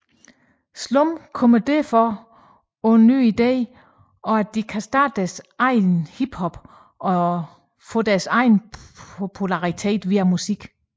Slum kommer derfor på den nye idé at de kan starte deres eget hiphop og tilegen sig popularitet via musik